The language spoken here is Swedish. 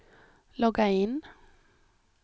logga in